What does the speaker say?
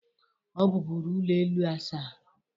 Ọ bụbụru ụlọ elu asaa.